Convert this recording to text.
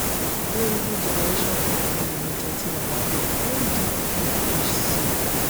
gerugu generation company limited ti wà lábẹ́ ndphc